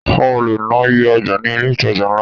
A ò le ná iye ọjà ní ilé ìtajà ńlá.